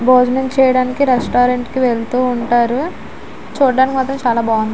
భోజనం చేయటానికి రెస్టారెంట్ కి వెళ్తూ ఉంటారు. చూడటానికి మాత్రం చాల బాగుంది.